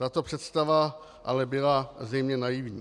Tato představa ale byla zřejmě naivní.